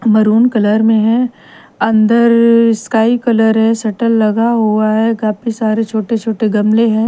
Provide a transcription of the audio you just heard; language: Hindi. मरून कलर में है अंदर स्काई कलर है शटल लगा हुआ है काफी सारे छोटे छोटे गमले है।